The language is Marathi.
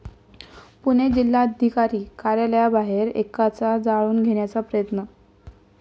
पुणे जिल्हाधिकारी कार्यालयाबाहेर एकाचा जाळून घेण्याचा प्रयत्न